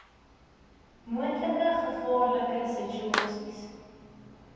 moontlike gevaarlike situasies